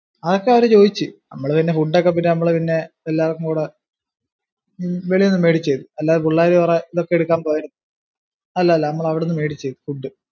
അതൊക്കെ അവര് ചോദിച്ചു. നമ്മള് പിന്നെ food ഒക്കെ പിന്നെ, നമ്മള് പിന്നെ എല്ലാർക്കും കൂടെ വെളിന്ന് മേടിച്ചു, അല്ലാതു പിള്ളാര് കുറെ ഇതൊക്കെ എടുക്കാൻ പോയ്‌, അല്ലല്ല നമ്മൾ അവിടുന്ന് മേടിച്ചു food.